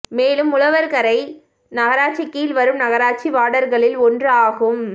மேலும் உழவர்கரை நகராட்சி கீழ் வரும் நகராட்சி வார்டகளில் ஒன்று ஆகும்